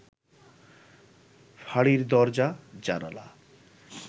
ফাঁড়ির দরজা- জানালা